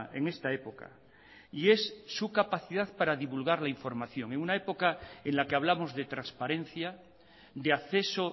en esta época y es su capacidad para divulgar la información en una época en la que hablamos de transparencia de acceso